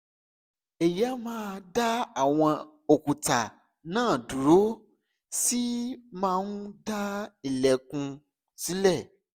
èyí á máa dá àwọn òkúta náà dúró ó sì máa ń dá ìlẹ́kùn sílẹ̀